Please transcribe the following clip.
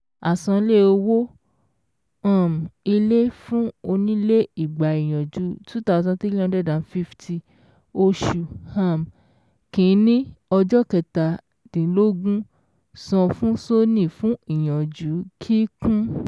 Àsanlé owó um ilé fún onílé igba ìyànjú two thousand three hundred fifty oṣù um kìíní ọjọ́ kẹtàdínlógún san fún Soni fún ìyànjú kíkún